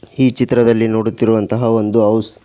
ಈ ಚಿತ್ರದಲ್ಲಿ ನೋಡುತ್ತಿರುವಂತಹ ಒಂದು ಹೌಸ್ --